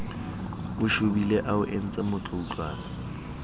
o shobile a o entsemotloutlwana